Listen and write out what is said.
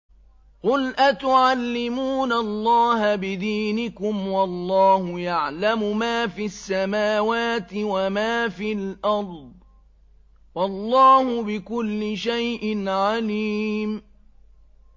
قُلْ أَتُعَلِّمُونَ اللَّهَ بِدِينِكُمْ وَاللَّهُ يَعْلَمُ مَا فِي السَّمَاوَاتِ وَمَا فِي الْأَرْضِ ۚ وَاللَّهُ بِكُلِّ شَيْءٍ عَلِيمٌ